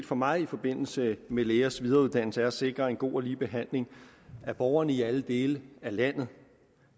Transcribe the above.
for mig i forbindelse med lægers videreuddannelse er at sikre en god og lige behandling af borgerne i alle dele af landet